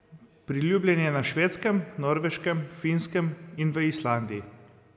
Priljubljen je na Švedskem, Norveškem, Finskem in v Islandiji.